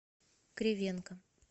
кривенко